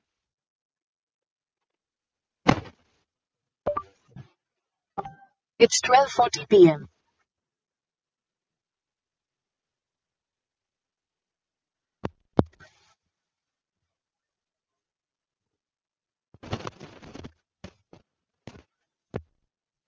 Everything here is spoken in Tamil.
its twelve fortyPM